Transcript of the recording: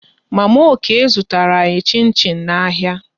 Mama Okey zụtara anyị chin chin n'ahịa